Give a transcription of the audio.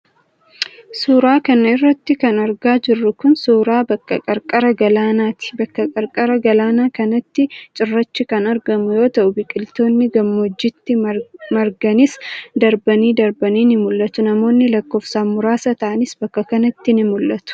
Suura kana irratti kan argaa jirru kun, suura bakka qarqara galaanaati. Bakka qarqara galaanaa kanatti cirrachi kan argamu yoo ta'u, biqiltoonni gammoojjiitti marganis darbanii darbanii ni mul'atu. Namoonni lakkoofsan muraasa ta'anis bakka kanatti ni mul'atu.